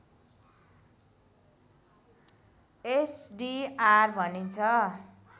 SDR भनिन्छ